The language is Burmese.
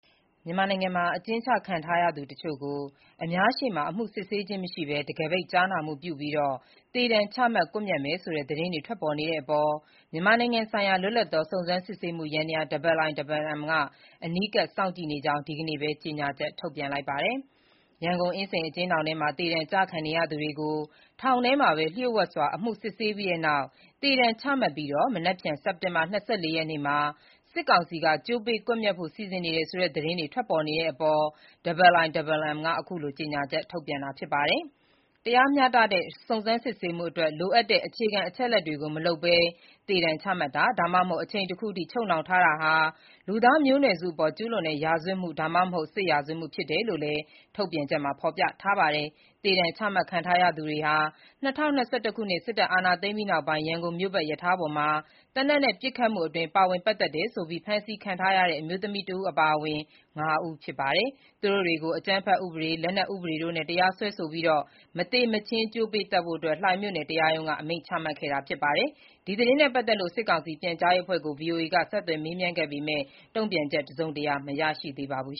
မြန်မာနိုင်ငံမှာ အကျဉ်းချခံရသူတချို့ကို အများရှေ့မှာ အမှုစစ်ဆေးခြင်းမရှိဘဲ တံခါးပိတ် ကြားနာမှုပြုပြီး သေဒဏ်ချမှတ် ကွပ်မျက်မယ်ဆိုတဲ့ သတင်းတွေ ထွက်ပေါ်နေတဲ့အပေါ် မြန်မာနိုင်ငံဆိုင်ရာ လွတ်လပ်သော စုံစမ်းစစ်ဆေးမှုယန္တရား (IIMM) က အနီးကပ်စောင့်ကြည့်နေကြောင်း ဒီကနေ့ပဲ ကြေညာချက်ထုတ်ပြန်လိုက်ပါတယ်။ ရန်ကုန် အင်းစိန်အကျဉ်းထောင်ထဲမှာ သေဒဏ်ကျခံနေရသူ ၅ ဦးကို ထောင်ထဲမှာပဲ လျှို့ဝှက်စွာ အမှုစစ်ဆေးပြီးတဲ့နောက် သေဒဏ် ချမှတ်ပြီး မနက်ဖြန် စက်တင်ဘာ ၂၄ ရက်နေ့မှာ စစ်ကောင်စီက ကြိုးပေးကွပ်မျက်ဖို့ စီစဉ်နေတယ်ဆိုတဲ့သတင်း ထွက်ပေါ်လာတဲ့အပေါ် IIMM က အခုလို ကြေညာချက် ထုတ်ပြန်တာဖြစ်ပါတယ်။ တရားမျှတတဲ့ စုံစမ်းစစ်ဆေးမှုအတွက် လိုအပ်တဲ့ အခြေခံ အချက်အလက်တွေကို မလုပ်ဘဲ သေဒဏ်ချမှတ်တာ၊ ဒါမှမဟုတ် အချိန်တခုအထိ ချုပ်နှောင်ထားတာဟာ လူသားမျိုးနွယ်အပေါ် ကျူးလွန်တဲ့ ရာဇဝတ်မှု၊ ဒါမှမဟုတ် စစ်ရာဇဝတ်မှု ဖြစ်တယ်လို့လည်း ထုတ်ပြန်ချက်မှာ ဖော်ပြထားပါတယ်။ သေဒဏ်ချမှတ်ခံရသူတွေဟာ ၂၀၂၁ ခုနှစ် စစ်အာဏာ သိမ်းပြီးနောက် ရန်ကုန်မြို့ပတ် ရထားပေါ်မှာ သေနတ်နဲ့ ပစ်ခတ်မှုအတွင်း ပါဝင်ပတ်သက်တယ်ဆိုပြီး ဖမ်းဆီးခံထားရတဲ့ အမျိုးသမီးတဦး အပါအဝင် ၅ ဦးဖြစ်ပါတယ်။ သူတို့တွေကို အကြမ်းဖက်ဥပဒေ၊ လက်နက်ဥပဒေတို့နဲ့ တရားစွဲဆိုခဲ့ပြီး မသေမချင်း ကြိုးပေးသတ်ဖို့ လှိုင်မြို့နယ် တရားရုံးက အမိန့်ချခဲ့တာ ဖြစ်ပါတယ်။ ဒီသတင်းနဲ့ ပတ်သက်လို့ စစ်ကောင်စီပြန်ကြားရေးအဖွဲ့ကို ဗွီအိုအေက ဆက်သွယ်မေးမြန်းခဲ့ပေမယ့် တုံ့ပြန်ချက် တစုံတရာ မရသေးပါဘူး